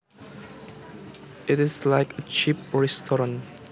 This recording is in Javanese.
It is like a cheap restaurant